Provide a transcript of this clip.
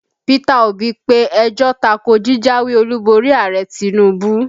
Peter Obi pe ẹjọ́ ta ko jíjáwé Olúborí Ààrẹ Tinubu